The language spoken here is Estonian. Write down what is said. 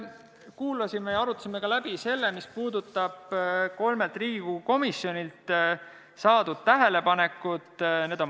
Kuulasime seda ja arutasime läbi selle, mis puudutab kolmelt Riigikogu komisjonilt saadud tähelepanekuid.